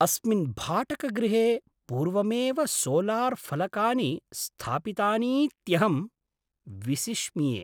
अस्मिन् भाटकगृहे पूर्वमेव सोलार्फलकानि स्थापितानीत्यहं विसिष्मिये।